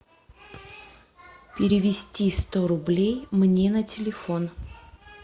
перевести сто рублей мне на телефон